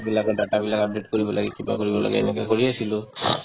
সেইবিলাকৰ data বিলাক update কৰিব লাগে কিবা কৰিব লাগে এনেকে কৰি আছিলো